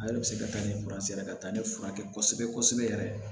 Ale de bɛ se ka taa ni ye ka taa ne furakɛ kosɛbɛ kosɛbɛ yɛrɛ